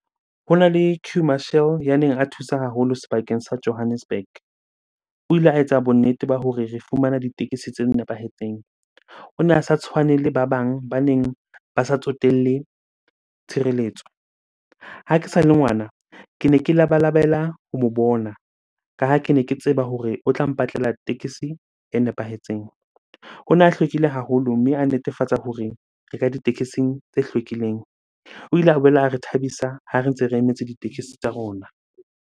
Hona le queue marshal ya neng a thusa haholo sebakeng sa Johannesburg. O ile a etsa bonnete ba hore re fumana ditekesi tse nepahetseng. O ne a sa tshwane le ba bang baneng ba sa tsotelle tshireletso. Ha ke sa le ngwana, kene ke labalabela ho mo bona ka ha kene ke tseba hore o tla mpatlela tekesi e nepahetseng. Ona a hlwekile haholo, mme a netefatsa hore re ka ditekesing tse hlwekileng. O ile a boela a re thabisa ha re ntse re emetse ditekesi tsa rona.